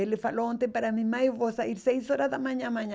Ele falou ontem para mim, mãe, eu vou sair seis horas da manhã amanhã.